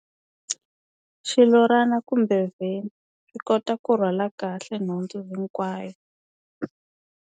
Xilorana kumbe vhene u kota ku rhwala kahle nhundzu hinkwayo.